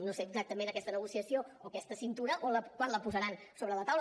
no sé exactament aquesta negociació o aquesta cintura quan la posaran sobre la taula